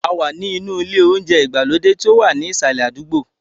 A wà ní inú ilé oúnjẹ ìgbàlódé tí ó wà ní ìsàlẹ̀ àdúgbò.